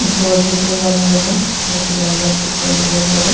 घर देख रहल बानी बनल। जैसे लागल पेंट भइल बारे।